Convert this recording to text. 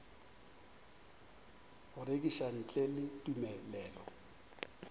go rekiša ntle le tumelelo